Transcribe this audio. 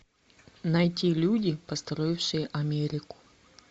найти люди построившие америку